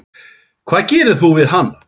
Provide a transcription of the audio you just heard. Hvað gerir þú við hana?